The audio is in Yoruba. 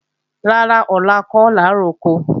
Rárá, ọ̀la kọ́ làá roko